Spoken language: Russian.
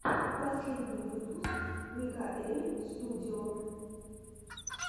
последний выпуск микаэльстудио